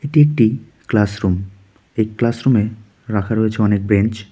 এটি একটি ক্লাসরুম এই ক্লাসরুমে রাখা রয়েছে অনেক বেঞ্চ .